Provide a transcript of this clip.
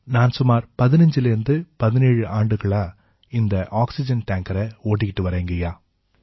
நான் சுமாரா 15லேர்ந்து 17 ஆண்டுகளா இந்த ஆக்சிஜன் டேங்கரை ஓட்டிக்கிட்டு வரேங்கய்யா